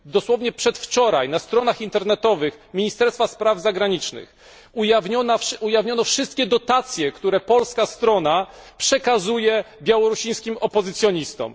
Dosłownie przedwczoraj na stronach internetowych Ministerstwa Spraw Zagranicznych ujawniono wszystkie dotacje, które polska strona przekazuje białoruskim opozycjonistom.